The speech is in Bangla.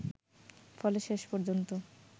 ফলে শেষ পর্যন্ত